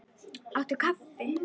Áttu kaffi?